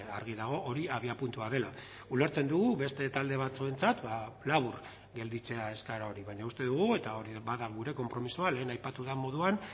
argi dago hori abiapuntua dela ulertzen dugu beste talde batzuentzat labur gelditzea eskaera hori baina uste dugu eta hori bada gure konpromisoa lehen aipatu den moduan